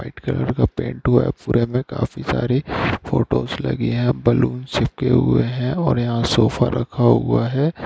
White colour का paint हुआ है पूरे में काफी सारी फोटोज लगी हैं बलून चिपके हुए हैं और यहां सोफा रखा हुआ है।